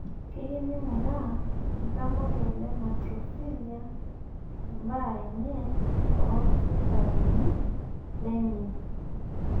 Keyieu neinguraa iltamoyia le maltophilia ebaare enye toolkitarini lenye